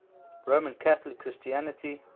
roman catholic christianity